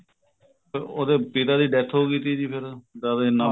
ਉਹਦੇ ਪਿਤਾ ਦੀ death ਹੋਗੀ ਸੀ ਜੀ ਫੇਰ ਦਵੇ ਇੰਨਾ